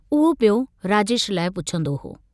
उहो पियो राजेश लाइ पुछंदो हो।